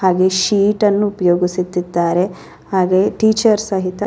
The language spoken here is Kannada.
ಹಾಗೆ ಶೀಟ್ ಅನ್ನು ಉಪಯೋಗಿಸುತ್ತಿದ್ದಾರೆ. ಹಾಗೆ ಟೀಚರ್ ಸಹಿತ --